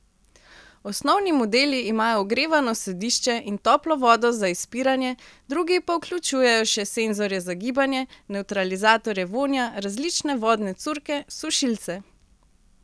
Osnovni modeli imajo ogrevano sedišče in toplo vodo za izpiranje, drugi pa vključujejo še senzorje za gibanje, nevtralizatorje vonja, različne vodne curke, sušilce ...